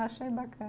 Achei bacana